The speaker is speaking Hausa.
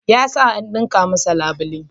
Ya sa an ɗinka masa labule.